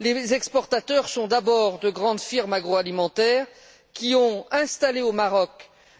Les exportateurs sont d'abord de grandes firmes agro alimentaires, qui ont installé au Maroc